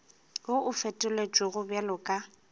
wo o fetotšwego bjalo ka